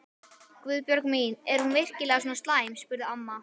Guðbjörg mín, er hún virkilega svona slæm? spurði amma.